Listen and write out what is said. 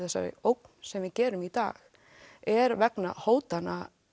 þessari ógn sem við gerum í dag er vegna hótana